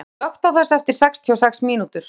Borg, slökktu á þessu eftir sextíu og sex mínútur.